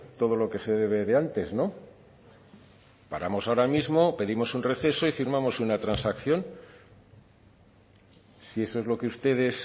todo lo que se debe de antes no paramos ahora mismo pedimos un receso y firmamos una transacción si eso es lo que ustedes